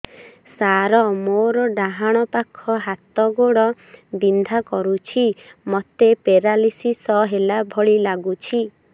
ସାର ମୋର ଡାହାଣ ପାଖ ହାତ ଗୋଡ଼ ବିନ୍ଧା କରୁଛି ମୋତେ ପେରାଲିଶିଶ ହେଲା ଭଳି ଲାଗୁଛି